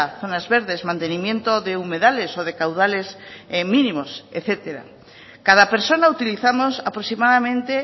zonas verdes mantenimiento de humedales o de caudales mínimos etcétera cada persona utilizamos aproximadamente